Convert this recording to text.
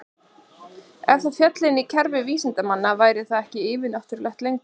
Ef það félli inn í kerfi vísindanna væri það ekki yfir-náttúrulegt lengur.